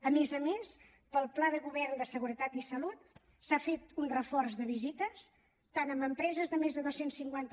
a més a més per al pla de govern de seguretat i salut s’ha fet un reforç de visites tant en empreses de més de dos cents i cinquanta